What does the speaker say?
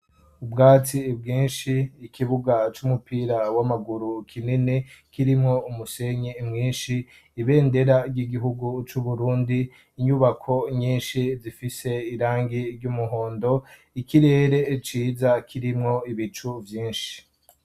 Ubwatsi bwinshi, ikibuga cy'umupira w'amaguru kinini kirimwo umusenyi mwinshi, ibendera ry'igihugu c'Uburundi, inyubako nyinshi zifise irangi ry'umuhondo, ikirere ciza kirimwo ibicu vyinshi.